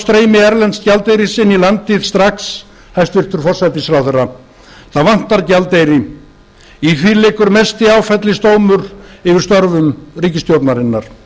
streymi erlends gjaldeyris inn í landið strax hæstvirtur forsætisráðherra það vantar gjaldeyri í því liggur mesti áfellisdómur yfir störfum ríkisstjórnarinnar